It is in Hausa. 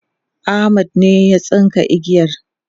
Ahmad ne ya tsinka igiyar